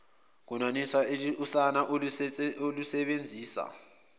kwenaniswa usana olusebenzisa